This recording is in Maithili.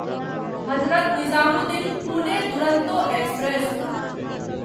हजरत निजामुद्दीन पुने दुरंतो एक्सप्रेस